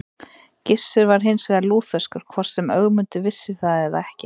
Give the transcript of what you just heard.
Gissur var hins vegar lútherskur, hvort sem Ögmundur vissi það eða ekki.